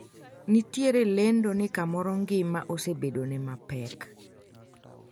nitiere lendo ni kamoro ngima osebedone mapek